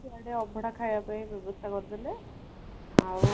ସିଆଡେ ଅଭଡ଼ା ଖାଇବା ପାଇଁ ବ୍ୟବସ୍ତା କରିଦେଲେ ଆଉ